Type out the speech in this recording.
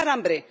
pasar hambre